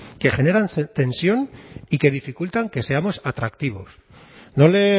que generan tensión y que dificultan que seamos atractivos no le